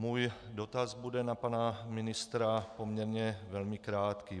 Můj dotaz bude na pana ministra poměrně velmi krátký.